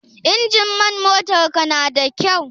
Injimin motar ka na da kyau?